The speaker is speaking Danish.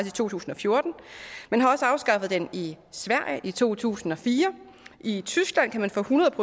i to tusind og fjorten man har også afskaffet den i sverige i to tusind og fire og i tyskland kan man få hundrede